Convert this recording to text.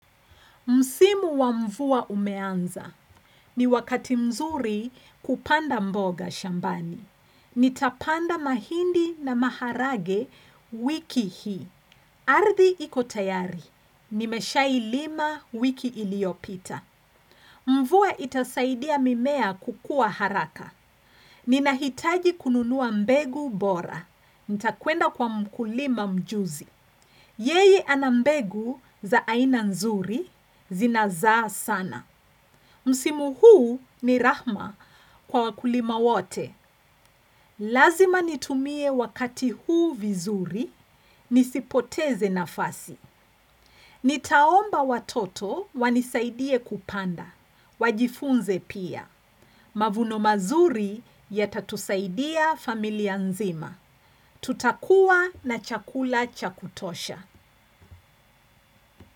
Msimu wa mvua umeanza. Ni wakati mzuri kupanda mboga shambani. Nitapanda mahindi na maharage wiki hii. Ardhi iko tayari. Nimeshailima wiki iliopita. Mvua itasaidia mimea kukua haraka. Ninahitaji kununuwa mbegu bora. Nitakuenda kwa mkulima mjuzi. Yeye ana mbegu za aina nzuri zinazaa sana. Msimu huu ni rahma kwa wakulima wote. Lazima nitumie wakati huu vizuri nisipoteze nafasi. Nitaomba watoto wanisaidie kupanda. Wajifunze pia. Mavuno mazuri yatatusaidia familia nzima. Tutakuwa na chakula cha kutosha.